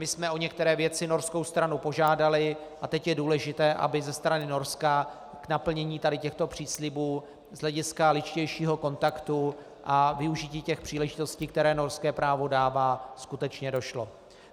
My jsme o některé věci norskou stranu požádali a teď je důležité, aby ze strany Norska k naplnění tady těchto příslibů z hlediska lidštějšího kontaktu a využití těch příležitostí, které norské právo dává, skutečně došlo.